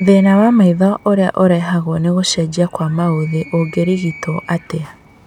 Thĩna wa maitho ũrĩa ũrehagwo nĩ gũcenjia kwa maũthĩ ũngĩrigitwo atĩa?